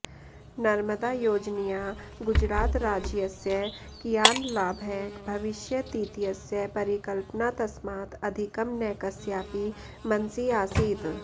नर्मदायोजनया गुजरातराज्यस्य कियान् लाभः भविष्यतीत्यस्य परिकल्पना तस्मात् अधिकं न कस्यापि मनसि आसीत्